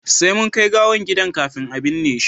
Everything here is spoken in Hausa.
sai mun kai gawan gida kafin a binne shi